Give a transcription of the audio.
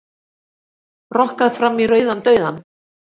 Rokkað fram í rauðan dauðann